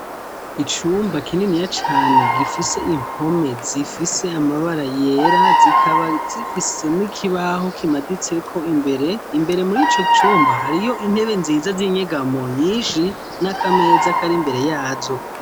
Icumba kininiya cane gifise impome zifise amabara yera zikaba zifise n'ikibaho kimaditseko imbere, imbere muri ico cumba hariyo intebe nziza z'inyegamo nyinshi, n'akameza kari imbere ya zo.